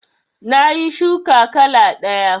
Nayi shuka kala ɗaya